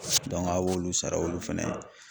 a b'olu sara olu fana ye.